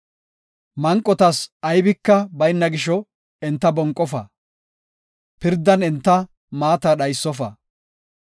Manqotas aybika bayna gisho, enta bonqofa; pirdan enta maata dhaysofa.